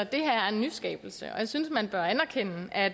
det her er en nyskabelse og jeg synes at man bør anerkende at